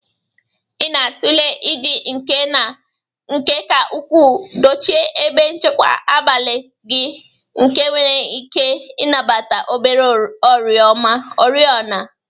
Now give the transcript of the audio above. Ị na-atụle iji nke ka ukwuu dochie ebe nchekwa abalị gị nke nwere ike ịnabata obere oriọna.